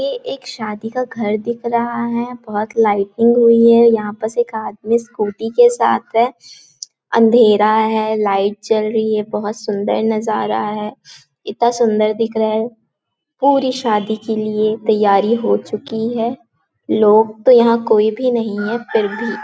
यह एक शादी का घर दिख रहा है बहुत लाइटिंग हुई है यहाँ पस एक आदमी स्कूटी के साथ है अँधेरा है लाइट जल रही है बहुत सुंदर नज़ारा है इतना सुंदर दिख रहा है पूरी शादी के लिए तैयारी हो चुकी है लोग तो यहाँ कोई भी नहीं है फिर भी--